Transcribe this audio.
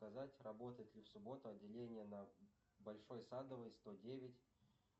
показать работает ли в субботу отделение на большой садовой сто девять